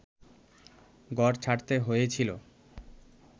ঘর ছাড়তে হয়েছিল